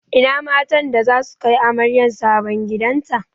Ina matan da zasu kai amaryar sabon gidan ta?